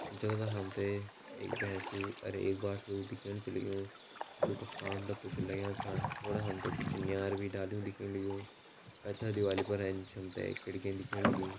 जोधा हमते एक भेंसुं और एक बाछडू दिख्येण छै लगयूं जोका कान डा कुछ लाग्यां छा उणे हमते कुछ नियार भी डाल्युं दिख्येण लगयूं पैथर दीवाली पर ऐंच हमते एक खिड़की दिख्येण लगीं।